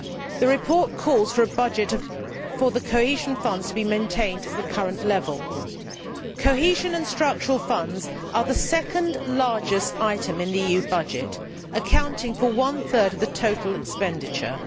The report calls for the cohesion funds to be maintained at the current level. Cohesion and Structural Funds are the second largest item in the EU budget, accounting for one third of the total expenditure.